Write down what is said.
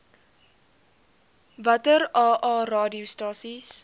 watter aa radiostasies